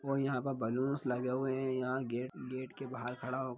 और यहाँ पे बलूंस लगे हुए हैं यहाँ गेट गेट के बाहर खड़ा हो --